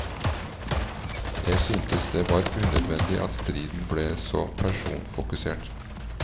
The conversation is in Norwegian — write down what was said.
Jeg syntes det var unødvendig at striden ble så personfokusert.